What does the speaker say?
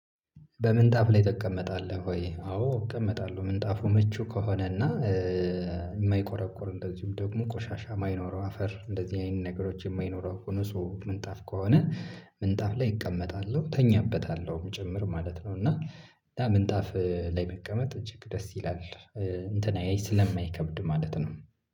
በምንጣፍ ላይ ትቀመጣለሁ ወይ? አዎ እቀመጣለሁ ምንጣፉ ምቹ ከሆነ እና የማይቆረቁር እንደዚሁም ደግሞ ቆሻሻ የማይኖረው አፈር እንደዚህ አይነት ነገሮች የማይኖረው ሆኖ ንጹህ ምንጣፍ ከሆነ። ምንጣፍ ላይ እቀመጣለሁ እተኛበታለሁም ጭምር ማለት ነው። እና ምንጣፍ ላይ መቀመጥ እጅግ ደስ ይላል። እንትን አያይ ስለማይከብድ ማለት ነው